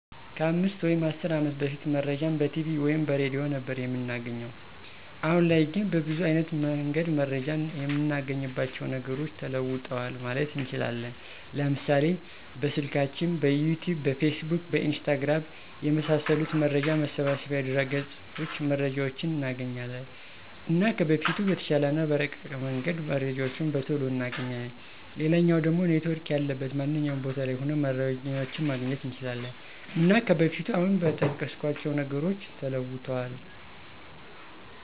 ከ 5 ወይም 10 አመት በፊት መረጃን በቲቪ ወይም በሬድዮ ነበር እምናገኘዉ። አሁን ላይ ግን በብዙ አይነት መንገድ መረጃን እምናገኝባቸዉ ነገሮች ተለዉጠዋል ማለት እንችላለን፤ ለምሳሌ፦ በስልካችን፣ በዩቱዩብ፣ በፌስቡክ፣ በኢንስታግራም፣ የመሳሰሉት መረጃ መሰብሰቢያ ድረገፆች መረጃዎችን እናገኛለን። እና ከበፊቱ በተሻለ እና በረቀቀ መንገድ መረጃዎችን በቶሎ እናገኛለን፣ ሌላኛዉ ደሞ ኔትዎርክ ያለበት ማንኛዉም ቦታ ላይ ሁሉንም መረጃዎችን ማግኘት እንችላለን። እና ከበፊቱ አሁን በጠቀስኳቸዉ ነገሮች ተለዉጧል።